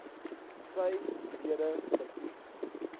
sy lede verkies